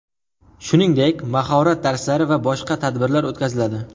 Shuningdek, mahorat darslari va boshqa tadbirlar o‘tkaziladi.